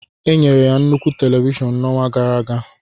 Enyere ya nnukwu televishọn n'ọnwa gara aga.